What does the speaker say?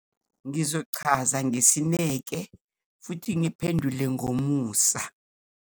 Ngizochaza ngesineke futhi ngiphendule ngomusa.